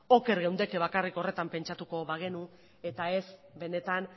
oker geundeke bakarrik horretan pentsatuko bagenu eta ez benetan